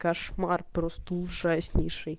кошмар просто ужаснейшей